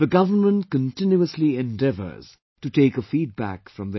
The government continuously endeavours to take a feedback from them